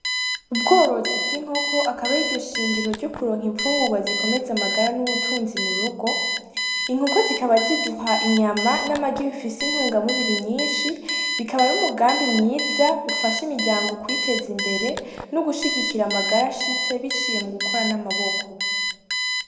Ubworozi bw'inkoko akaba ari ryo Shingiro rikomeza amagara n'ubutunzi mu rugo , inkoko zikaba ziduha inyama, n'amagi bifise intungamubiri nyinshi bikaba ar'umugambi mwiza ufash'imiryango kwitez'imbere no gushigikira amagara ashitse biciye mu gukora n'amaboko.